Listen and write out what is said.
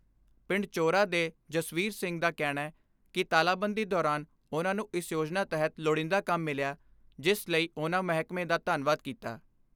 ਪਿੰਡ ਚੋਰਾ ਦੇ ਜਸਵੀਰ ਸਿੰਘ ਦਾ ਕਹਿਣੈ ਕਿ ਤਾਲਾਬੰਦੀ ਦੌਰਾਨ ਉਨ੍ਹਾਂ ਨੂੰ ਇਸ ਯੋਜਨਾ ਤਹਿਤ ਲੋੜੀਂਦਾ ਕੰਮ ਮਿਲਿਆ ਜਿਸ ਲਈ ਉਨ੍ਹਾਂ ਮਹਿਕਮੇ ਦਾ ਧੰਨਵਾਦ ਕੀਤਾ।